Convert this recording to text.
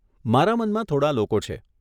મારા મનમાં થોડાં લોકો છે.